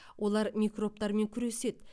олар микробтармен күреседі